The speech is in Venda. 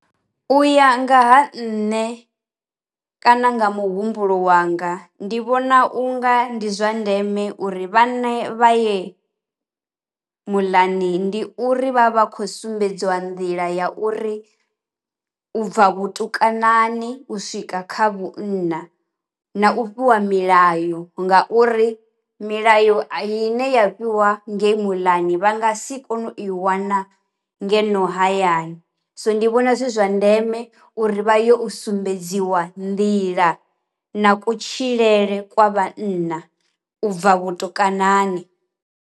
U ya nga ha nṋe kana nga muhumbulo wanga ndi vhona unga ndi zwa ndeme uri vha ne vha ye muḽani, ndi uri vha vha khou sumbedziwa nḓila ya uri u bva vhutukani u swika kha vhunna, na u fhiwa milayo nga uri milayo i ne ya fhiwa ngei muḽani vha nga si kone u i wana ngeno hayani, so ndi vhona zwi zwa ndeme uri vha yo sumbedziwa nḓila na kutshilele kwa vhanna ubva vhutukanani.